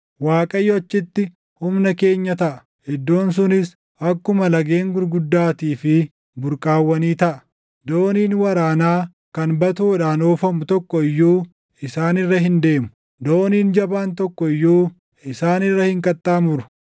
Waaqayyo achitti Humna keenya taʼa. Iddoon sunis akkuma lageen gurguddaatii fi burqaawwanii taʼa. Dooniin waraanaa kan batoodhaan oofamu tokko iyyuu isaan irra hin deemu; dooniin jabaan tokko iyyuu isaan irra hin qaxxaamuru.